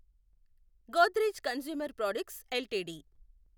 Godrej consumer products LTD